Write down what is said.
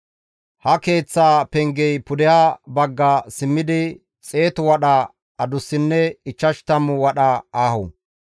Ha keeththaa pengey pudeha bagga simmidi xeetu wadha adussinne ichchash tammu wadha aaho.